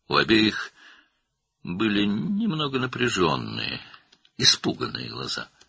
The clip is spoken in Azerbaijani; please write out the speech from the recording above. Hər ikisinin bir az gərgin, qorxmuş gözləri var idi.